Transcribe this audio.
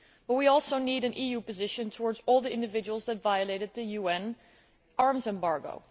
We also need an EU position towards all the individuals who violated the arms embargo.